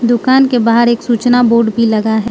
दुकान के बाहर एक सूचना बोर्ड भी लगा है।